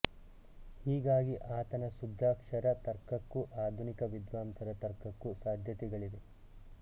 ಹೀಗಾಗಿ ಆತನ ಶುದ್ಧಾಕ್ಷರ ತರ್ಕಕ್ಕೂ ಆಧುನಿಕ ವಿದ್ವಾಂಸರ ತರ್ಕಕ್ಕೂ ಸಾಧ್ಯತೆಗಳಿವೆ